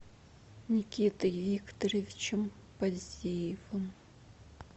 никитой викторовичем поздеевым